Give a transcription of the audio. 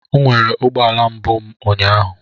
M nwere ụgbọala mbụ m ụnyaahụ.